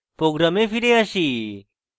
program ফিরে আসি